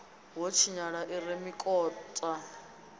ho tshinyala i re mikota